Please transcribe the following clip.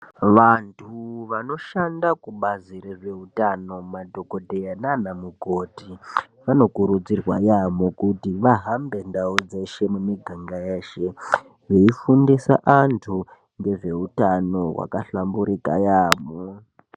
Vantu vanoshanda kubazi rezveutano madhokodheya naanamukoti vanokurudzirwa yaamho kuti vahambe ndau dzeshe mumiganga yeshe veifundisa antu ngezveutano hwakahlamburika yaamho.